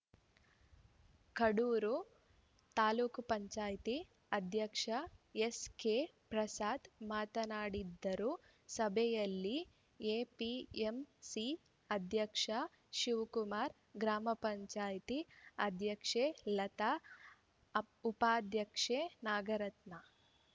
ಕಡೂರು ತಾಲೂಕ್ ಪಂಚಾಯಿತಿ ಅಧ್ಯಕ್ಷ ಎಸ್‌ಕೆ ಪ್ರಸಾದ್‌ ಮಾತನಾಡಿದರು ಸಭೆಯಲ್ಲಿ ಎಪಿಎಂಸಿ ಅಧ್ಯಕ್ಷ ಶಿವಕುಮಾರ್‌ ಗ್ರಾಮ ಪಂಚಾಯಿತಿ ಅಧ್ಯಕ್ಷೆ ಲತಾ ಉಪಾಧ್ಯಕ್ಷೆ ನಾಗರತ್ನ